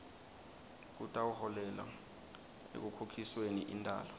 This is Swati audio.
kutawuholela ekukhokhisweni intalo